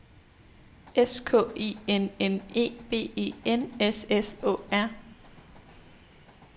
S K I N N E B E N S S Å R